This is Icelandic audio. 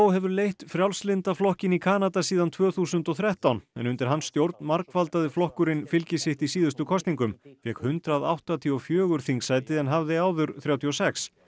hefur leitt Frjálslynda flokkinn í Kanada síðan tvö þúsund og þrettán undir hans stjórn margfaldaði flokkurinn fylgi sitt í síðustu kosningum fékk hundrað áttatíu og fjórar þingsæti en hafði áður þrjátíu og sex